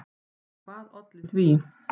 Og hvað olli því?